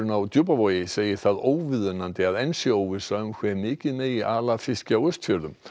á Djúpavogi segir það óviðunandi að enn sé óvissa um hve mikið megi ala af fiski á Austfjörðum